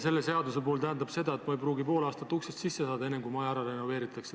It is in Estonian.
Selle seaduse puhul tähendab see seda, et ma ei pruugi pool aastat uksest sisse saada, enne kui maja ära renoveeritakse.